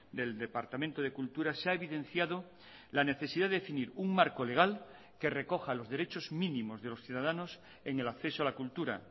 del departamento de cultura se ha evidenciado la necesidad de definir un marco legal que recoja los derechos mínimos de los ciudadanos en el acceso a la cultura